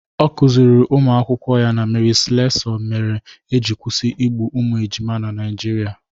Ọ kụziiri ụmụ akwụkwọ ya na Mary Slessor mere eji kwụsị igbu ụmụ ejima na Naijiria.